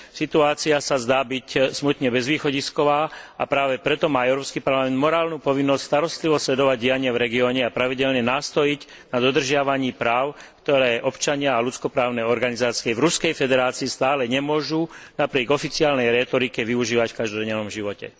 Situácia sa zdá byť smutne bezvýchodisková, a práve preto má Európsky parlament morálnu povinnosť starostlivo sledovať dianie v regióne a pravidelne nástojiť na dodržiavaní práv, ktoré občania a ľudsko právne organizácie v Ruskej federácii stále nemôžu napriek oficiálnej rétorike využívať v každodennom živote.